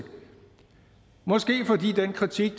måske fordi den kritik af